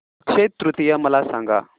अक्षय तृतीया मला सांगा